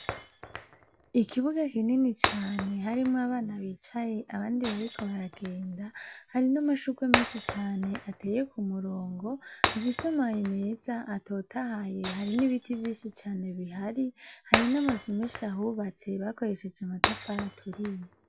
Ikibuga kinini cane harimwo abana bicaye abandi bariko baragenda, hari n'amashurwe menshi cane ateye ku murongo, afise amababi meza, atotahaye, hari n'ibiti vyinshi cane bihari, hari n'amazu menshi ahubatse, bakoresheje amatafari aturiye.